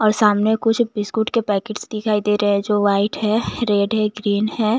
और सामने कुछ बिस्कुट के पैकेट्स दिखाई दे रहे हैं जो व्हाइट हैं रेड हैं ग्रीन हैं।